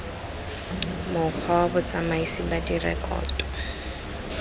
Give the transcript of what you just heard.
mokgwa wa botsamaisi ba direkoto